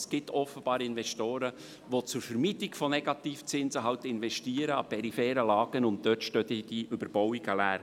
Es gibt offenbar Investoren, die zur Vermeidung von Negativzinsen an peripheren Lagen investieren, und dort stehen dann die Überbauungen leer.